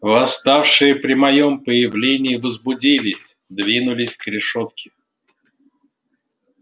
восставшие при моём появлении возбудились двинулись к решётке